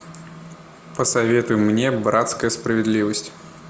посоветуй мне братская справедливость